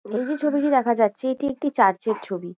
এই যে ছবিটি দেখা যাচ্ছে এটি একটি চার্চ এর ছবি।